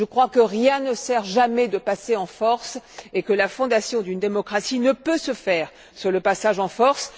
Je crois que rien ne sert jamais de passer en force et que la fondation d'une démocratie ne peut se faire par le passage en force.